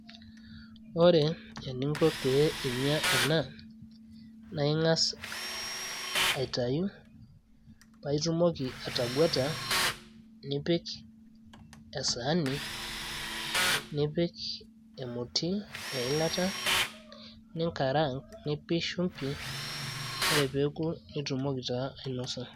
ore eninko pee inyia ena, naa ing'as aitayu, paa itumoki atangueta, nipik esaani, nipik emoti eilata, ninkaraank, nipik shumpi, ore pee eku nitumoki taa ainosa.